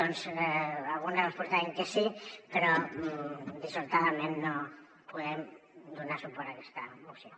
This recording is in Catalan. doncs algunes les votarem que sí però dissortadament no podem donar suport a aquesta moció